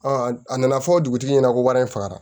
a nana fɔ dugutigi ɲɛna ko wari in fagara